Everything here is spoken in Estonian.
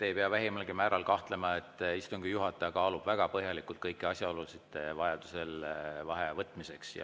Te ei pea vähimalgi määral selles kahtlema, istungi juhataja kaalub vajaduse korral väga põhjalikult kõiki asjaolusid vaheaja võtmiseks.